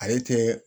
Ale tɛ